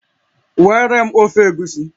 Weere m ofe Egusi